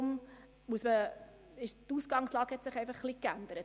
Deshalb hat sich die Ausgangslage etwas geändert.